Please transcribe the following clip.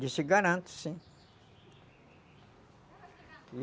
Disse, garanto sim.